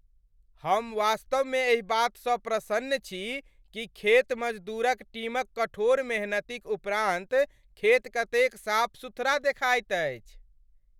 हम वास्तवमे एहि बातसँ प्रसन्न छी कि खेत मजदूरक टीमक कठोर मेहनतिक उपरान्त खेत कतेक साफ सुथरा देखाइत अछि।